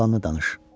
Qalanı danış.